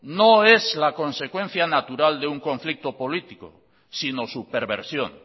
no es la consecuencia natural de un conflicto político sino su perversión